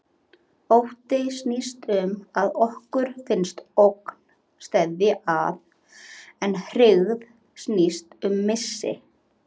Ótti snýst um að okkur finnst ógn steðja að, en hryggð snýst um missi.